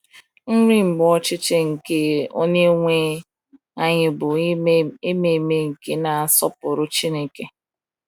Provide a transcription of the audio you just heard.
Nri Mgbe Ọchịchị nke Onyenwe anyị bụ Ime Ememe nke na-asọpụrụ Chineke.